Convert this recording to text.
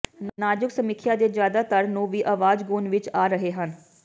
ਨਾਜ਼ੁਕ ਸਮੀਖਿਆ ਦੇ ਜ਼ਿਆਦਾਤਰ ਨੂੰ ਵੀ ਆਵਾਜ਼ ਗੁਣ ਵਿਚ ਆ ਰਹੇ ਹਨ